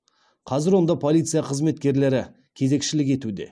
қазір онда полиция қызметкерлері кезекшілік етуде